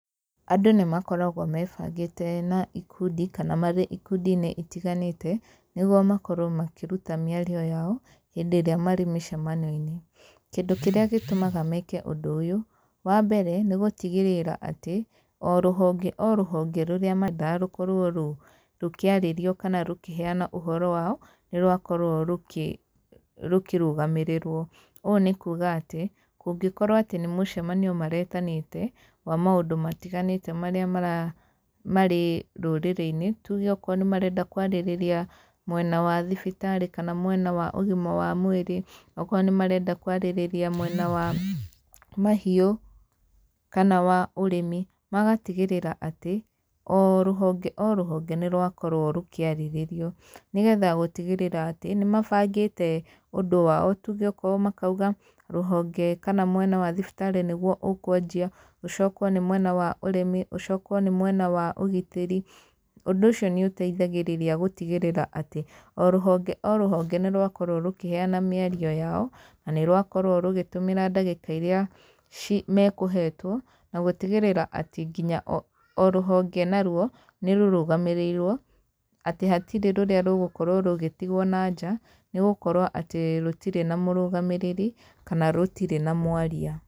Andũ nĩ makoragwo mebangĩte na ikundi kana marĩ ikundi-inĩ itiganĩte, nĩguo makorwo makĩruta mĩario yao, hĩndĩ ĩrĩa marĩ mĩcemanio-inĩ. Kĩndũ kĩrĩa gĩtũmaga meke ũndũ ũyũ, wa mbere, nĩ gũtigĩrĩra atĩ, o rũhonge o rũhonge rũrĩra mandaga rũkorwo rũkĩarĩrio kana rũkĩheana ũhoro wao, nĩ rwakorwo rũkĩrũgamĩrĩrwo. Ũũ nĩ kuuga atĩ, kũngĩkorwo atĩ nĩ mũcemanio maretanĩte, wa maũndũ matiganĩte marĩa marĩ rũrĩrĩ-inĩ, tuge okorwo nĩ marenda kwarĩrĩria mwena wa thibitarĩ kana mwena wa ũgima wa mwĩrĩ, okorwo nĩ marenda kwarĩrĩria mwena wa mahiũ kana wa ũrĩmi, magatigĩrĩra atĩ, o rũhonge o rũhonge nĩ rwakorwo rũkĩarĩrĩrio. Nĩgetha gũtigĩrĩra atĩ, nĩ mabangĩte ũndũ wao. Tuge okorwo makauga, rũhonge kana mwena wa thibitarĩ nĩguo ũkwanjia, ũcokwo nĩ mwena wa ũrĩmi, ũcokwo nĩ mwena wa ũgitĩri. Ũndũ ũcio nĩ ũteithagĩrĩria gũtigĩrĩra atĩ, o rũhonge o rũhonge nĩ rwakorwo rũkĩheana mĩario yao, na nĩ rwakorwo rũgĩtũmĩra ndagĩka irĩa mekũhetwo, na gũtigĩrĩra atĩ nginya o rũhonge naruo, nĩ rũrũgamĩrĩirwo, atĩ hatirĩ rũrĩa rũgũkorwo rũgĩtigwo na nja, nĩ gũkorwo atĩ rũtirĩ na mũrũgamĩrĩri, kana rũtirĩ na mwaria.